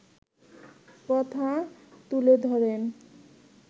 কথা তুলে ধরেন